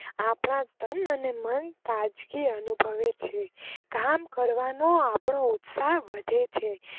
આપણા તન મન તાજગી અનુભવે છે કામ કરવાનો આપનો ઉત્સાહ વધે છે.